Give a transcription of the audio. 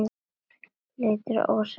Liðið er ósigrað til þessa.